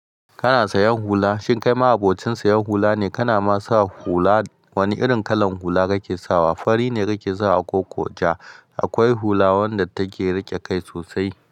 Kana sayan hula, shin kai ma abokin sayan hula ne? Kana ma sa hula, wani irin kalan hula kake sawa? Fari ne kake sawa ko ko ja? Akwai hula wanda take riƙe kai sosai.